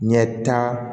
Ɲɛta